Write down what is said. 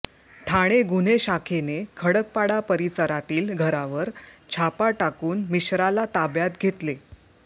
ठाणे गुन्हे शाखेने खडकपाडा परिसरातील घरावर छापा टाकून मिश्राला ताब्यात घेतले